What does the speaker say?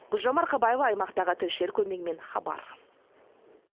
гүлжан марқабаева аймақтағы тілшілер көмегімен хабар